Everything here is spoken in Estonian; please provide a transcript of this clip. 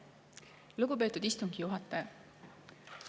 Lugupeetud istungi juhataja!